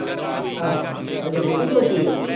ਆਹੋ, ਹਜੇ ਬਹੁਤੀ ਛੋਟੀ ਹੈ?